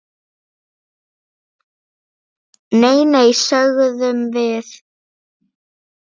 Nei, nei, sögðum við.